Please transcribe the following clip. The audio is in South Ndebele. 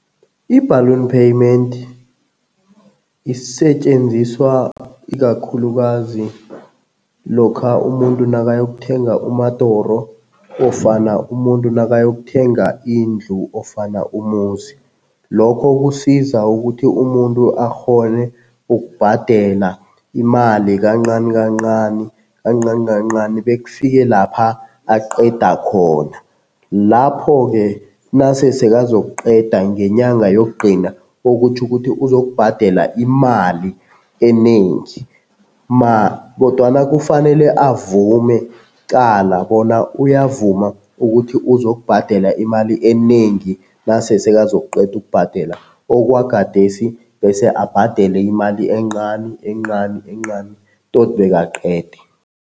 I-balloon payment isetjenziswa ikakhulukazi lokha umuntu nakayokuthenga umadoro ofana umuntu nakayokuthenga indlu ofana umuzi. Lokho kusiza ukuthi umuntu akghone ukubhadela imali kancani kancani, kancani kancani, bekufike lapha aqeda khona. Lapho-ke nase sekazokuqeda ngenyanga yokugcina, okutjho ukuthi uzokubhadela imali enengi kodwana kufanele avume kuqala bona uyavuma ukuthi uzokubhadela imali enengi nase sekazokuqeda ukubhadela okwagadesi bese abhadele imali encani encani, encani toti bekaqede.